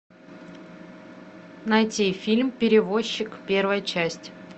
найти фильм перевозчик первая часть